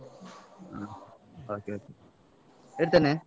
ಹ okay, okay ಇಡ್ತೇನೆ.